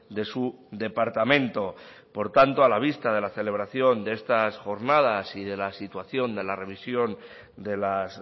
de su departamento por tanto a la vista de la celebración de estas jornadas y de la situación de la revisión de las